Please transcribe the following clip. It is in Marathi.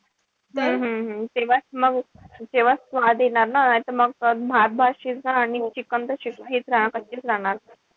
हम्म हम्म हम्म तेव्हा जेव्हा मंग स्वाद येणार ना. नाई त म भात-भात शिजणार आणि chicken तशेच कच्चेच राहणार.